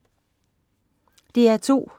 DR2: